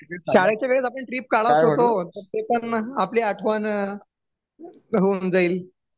शाळेच्या वेळेस आपली ट्रिप काढत होतो ते पान आपली आठवण होऊन जाईल